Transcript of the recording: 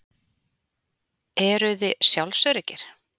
Eruði sjálfsöruggir?